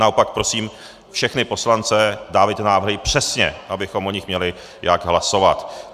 Naopak prosím všechny poslance, dávejte návrhy přesně, abychom o nich měli jak hlasovat.